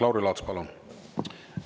Lauri Laats, palun!